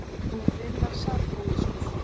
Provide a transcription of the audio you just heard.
Hann er greinilega sódónískur!